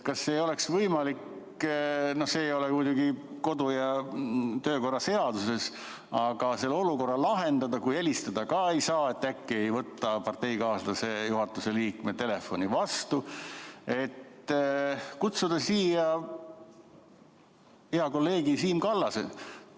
Kas ei oleks võimalik – see ei ole muidugi kodu- ja töökorra seaduses – see olukord nii lahendada, kui helistada ka ei saa, sest äkki ei võeta parteikaaslase, juhatuse liikme telefoni vastu, et kutsuda siia hea kolleeg Siim Kallas?